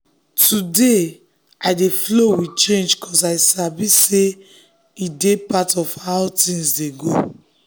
today i dey flow with change 'cause i sabi say e dey part of how things dey go.